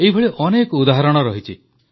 ଏଇଭଳି ଅନେକ ଉଦାହରଣ ରହିଛି